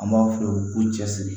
An b'a f'u ye ko cɛ siri